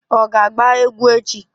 Ọ ga-agba egwu echi?